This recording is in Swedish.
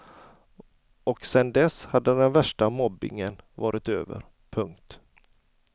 Och sen dess hade den värsta mobbingen varit över. punkt